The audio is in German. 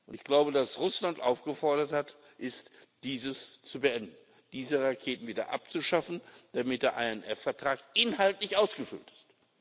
Ich glaube, dass Russland aufgefordert ist, dies zu beenden, diese Raketen wieder abzuschaffen, damit der INF Vertrag inhaltlich ausgefüllt ist.